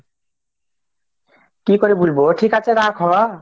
কি করে বলবে হোক ঠিক আছে রাখ